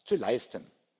zu leisten.